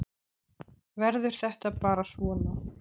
Verður þetta bara svona?